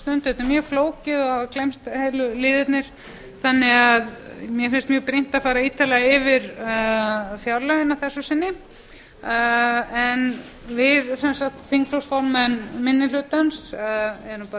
stundu þetta er mjög flókið og hafa gleymst heilu liðirnir þannig að mér finnst mjög brýnt að fara ítarlega yfir fjárlögin að þessu sinni við þingflokksformenn minni hlutans erum